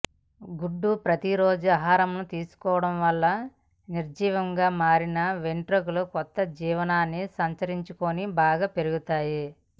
గుడ్డు ప్రతి రోజూ ఆహారంలో తీసుకోవడం వల్ల నిర్జీవంగా మారిని వెంట్రుకలు కొత్త జీవాన్ని సంతరించుకొని బాగా పెరుగుతాయి